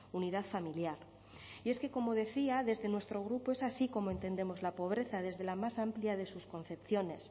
unidad familiar y es que como decía desde nuestro grupo es así como entendemos la pobreza desde la más amplia de sus concepciones